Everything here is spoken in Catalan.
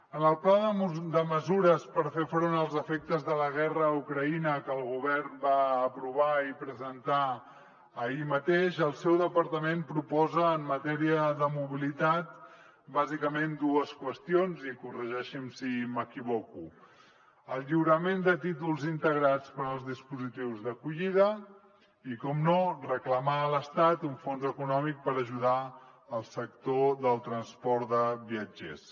en el pla de mesures per fer front als efectes de la guerra a ucraïna que el govern va aprovar i presentar ahir mateix el seu departament proposa en matèria de mobilitat bàsicament dues qüestions i corregeixi’m si m’equivoco el lliurament de títols integrats per als dispositius d’acollida i per descomptat reclamar a l’estat un fons econòmic per ajudar el sector del transport de viatgers